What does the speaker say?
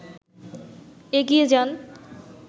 এগিয়ে যান